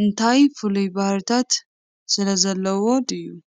እንታይ ፍሉይ ባህርያት ስለዘለዎ ድዩ?